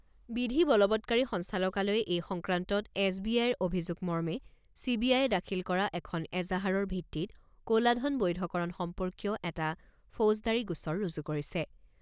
বিধি বলৱৎকাৰী সঞ্চালকালয়ে এই সংক্ৰান্তত এছ বি আইৰ অভিযোগমৰ্মে চি বি আয়ে দাখিল কৰা এখন এজাহাৰৰ ভিত্তিত ক'লা ধন বৈধকৰণ সম্পৰ্কীয় এটা ফৌজদাৰী গোচৰ ৰুজু কৰিছে।